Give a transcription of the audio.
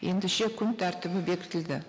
ендеше күн тәртібі бекітілді